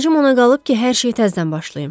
Əlacım ona qalıb ki, hər şeyi təzdən başlayım.